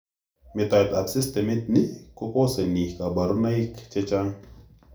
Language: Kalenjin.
Metoet ab systemitni kokoseni kaborunoik chechang'